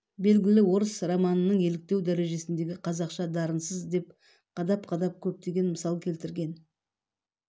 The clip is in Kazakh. белгілі орыс романының еліктеу дәрежесіндегі қазақша дарынсыз деп қадап-қадап көптеген мысал келтірген